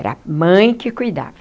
Era a mãe que cuidava.